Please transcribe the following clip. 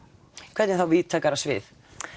hvernig þá víðtækara svið